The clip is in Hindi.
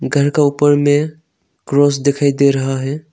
घर का ऊपर में क्रॉस दिखाई दे रहा हैं।